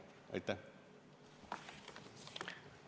Aitäh!